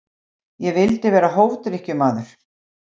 Ég vildi vera hófdrykkjumaður.